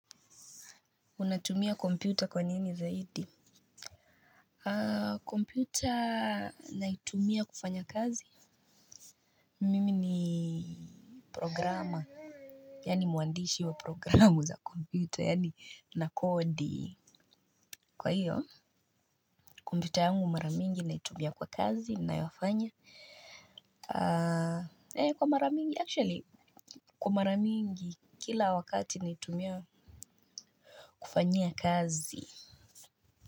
Unatumia kompyuta kwanini zaidi. Kompyuta naitumia kufanya kazi Mimi ni programa yani mwandishi wa programu za kompyuta yani na kodi. Kwa hiyo kompyuta yangu mara mingi naitumia kwa kazi ninayofanya, kwa mara mingi actually kwa mara mingi kila wakati naitumia kufanyia kazi.